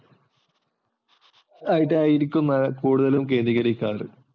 ആഹ് ഇതായിരിക്കും കൂടുതലും കേന്ദ്രീകരി